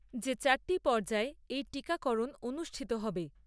যে চারটি পর্যায়ে এই টিকাকরণ অনুষ্ঠিত হবে।